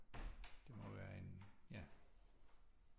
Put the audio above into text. Det må være en ja